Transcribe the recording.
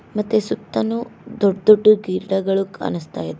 ಮತ್ತೆ ಸುತ್ತನು ದೊಡ್ ದೊಡ್ದೂ ಗಿಡಗಳು ಕಾಣಿಸ್ತಾ ಇದೆ.